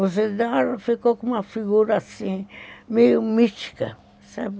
O Isidoro ficou com uma figura assim, meio mítica, sabe?